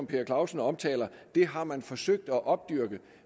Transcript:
per clausen omtaler har man forsøgt at opdyrke